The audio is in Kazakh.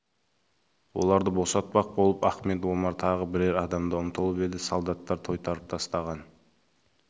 оларды босатпақ болып ахмет омар тағы бірер адам ұмтылып еді солдаттар тойтарып тастаған